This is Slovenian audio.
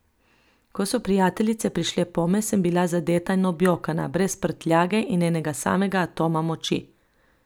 Ko so prijateljice prišle pome, sem bila zadeta in objokana, brez prtljage in enega samega atoma moči.